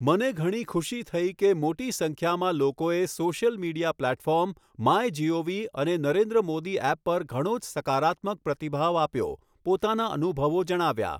મને ઘણી ખુશી થઈ કે મોટી સંખ્યામાં લોકોએ social media platform, my G O V અને નરેન્દ્ર મોદી એપ પર ઘણો જ સકારાત્મક પ્રતિભાવ આપ્યો, પોતાના અનુભવો જણાવ્યા.